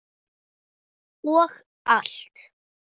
Og allt.